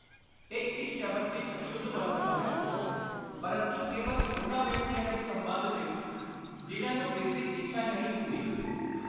ਇਹ ਇਸ ਸ਼ਬਦ ਦੀ ਅਸ਼ੁੱਧ ਵਰਤੋਂ ਹੈ, ਪਰੰਤੂ ਕੇਵਲ ਉਨ੍ਹਾਂ ਵਿਅਕਤੀਆਂ ਦੇ ਸੰਬੰਧ ਵਿਚ ਜਿਨ੍ਹਾਂ ਨੂੰ ਇਸਦੀ ਇੱਛਾ ਨਹੀਂ ਹੁੰਦੀ।